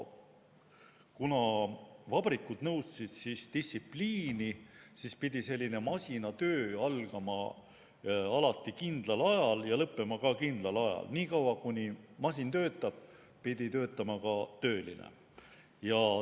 Kuna vabrikud nõudsid distsipliini, siis pidi selline masinatöö alati algama ja lõppema kindlal ajal, niikaua kuni masin töötab, pidi töötama ka tööline.